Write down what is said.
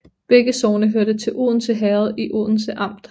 Begge sogne hørte til Odense Herred i Odense Amt